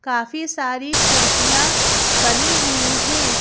काफी सारी खिड़कियाँ बनी हुई हैं।